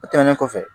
O tɛmɛnen kɔfɛ